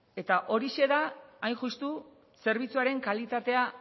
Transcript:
eta horixe da hain justu zerbitzuaren kalitatea